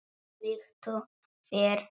Flýttu þér, vinur.